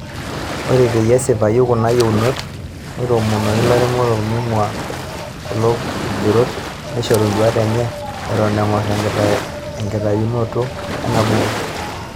Ore peyie esipaayu kuna yieunot,. neitoomonoki ilairemok meing'ura kulokigerot neishoru nduaat enye, etoon eng'or enkitayunoto enabuku.